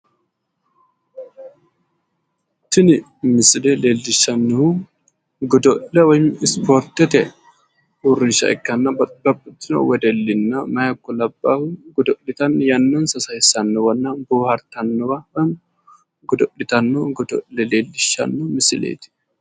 Tini misile leellishshannohu godo'le woyi ispoortete uurrinsha ikkanna babbaxxitino wedelli meyaha ikko labbaahu godo'litanni yannansa sayissannowanna boohaartannowa godo'litanno godo'le leellishshanno misileeti.